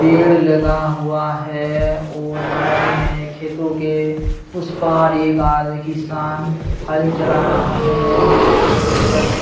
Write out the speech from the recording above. पेड़ लगा हुआ है और साइड में खेतों के उस पार एक आद किसान हल चला रहा है और बगल में --